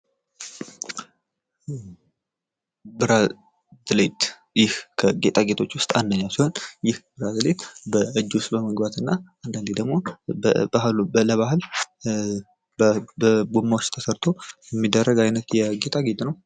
ብራዝሌት ፦ ይህ ከጌጣጌጦች ውስጥ አንደኛው ሲሆን ይህ ብራዝሌት በእጅ ውስጥ በመግባት እና አንዳንዴ ደግሞ ለበአል በጎማ ውስጥ ተሰርቶ የሚደረግ ዓይነት የጌጣጌጥ ነው ።